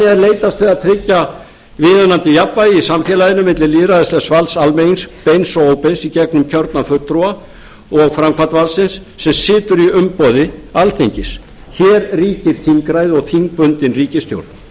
leitast við að tryggja viðunandi jafnvægi í samfélaginu milli lýðræðislegs valds almennings beins og óbeins í gegnum kjörna fulltrúa og framkvæmdarvaldsins sem situr í umboði alþingis hér ríkir þingræði og þingbundin ríkisstjórn